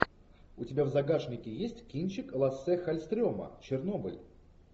у тебя в загашнике есть кинчик лассе халльстрема чернобыль